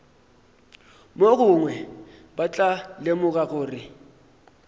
mogongwe ba tla lemoga gore